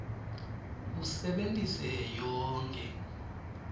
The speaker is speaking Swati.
usebentise yonkhe